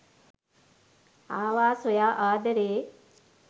ආවා සොයා ආදරේ